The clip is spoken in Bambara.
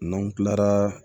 N'an kilara